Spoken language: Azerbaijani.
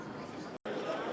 Neyləyir bu?